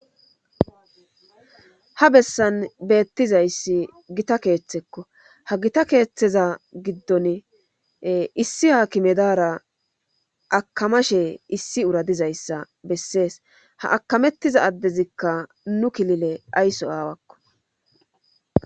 ha bessan beettizayssi gita keeththekko ha gita keeththeza giddon issi haakimedara akamashe issi uradizayssa bessees ha akamettiza addezikka nu kilile aysso aawakko